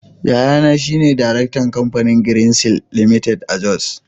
Yayana shi ne Daraktan Kamfanin Greenseals Ltd. a Jos.